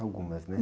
Algumas, né?